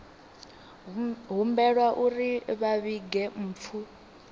humbelwa uri vha vhige mpfu